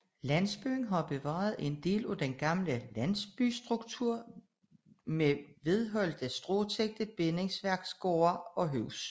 Landsbyen har bevaret en del af den gamle landsbystruktur med velholdte stråtækkede bindingsværksgårde og huse